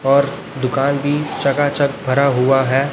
और दुकान भी चकाचक भरा हुआ है।